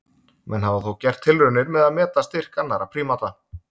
Menn hafa þó gert tilraunir með að meta styrk annarra prímata.